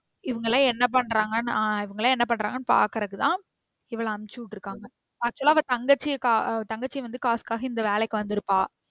இவங்கலாம் என்ன பண்றாங்கன்னு ஆஹ்ன் இவங்கலாம் என்ன பண்றாங்கன்னு பாக்குறதுக்கு தான் இவள அமிச்சி விற்றுகாங்க. actual ஆ இவ தங்கச்சி கா தங்கச்சி வந்து காசுக்காக இந்த வேலைக்கு வந்துருப்பா.